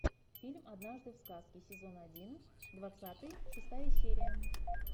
фильм однажды в сказке сезон один двадцатый шестая серия